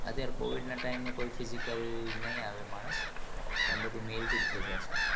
અત્યારે covid ના time એ કોઈ physical ની આવે માનસ પણ બધું mail થી જ થઇ જશે